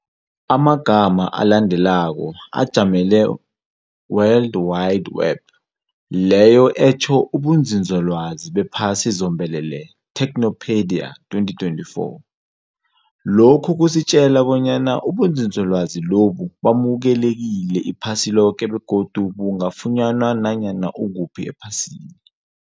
Amagama alandelako, ajamele World Wide Web, leyo etjho ubunzinzolwazi bephasi zombelele, Techopedia 2024. Lokhu kusitjela bonyana ubunzizolwazi lobu bamulekekile iphasi loke begodu bungafunywa nanyana ukuphi ephasini.